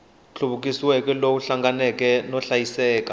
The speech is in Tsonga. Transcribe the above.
nhluvukiso lowu hlanganeke no hlayiseka